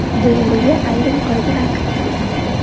Duelga ayrim qoidalar kiritildi.